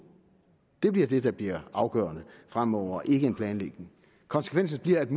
det bliver det der bliver afgørende fremover ikke en planlægning konsekvensen bliver at